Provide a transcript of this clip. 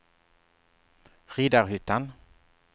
Riddarhyttan